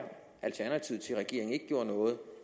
alternativet til at regeringen ikke gjorde noget